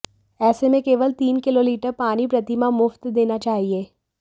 ऐसे में केवल तीन किलो लिटर पानी प्रति माह मुफ्त देना चाहिये